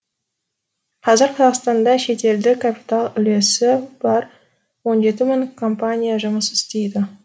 қазір қазақстанда шетелдік капитал үлесі бар он жеті мың компания жұмыс істейді